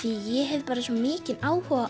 ég hef bara svo mikinn áhuga